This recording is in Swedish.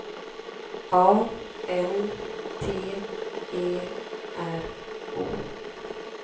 A N T E R O